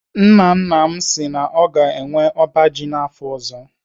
Nna nna m si na ọ ga-enwe ọba ji afọ ọzọ.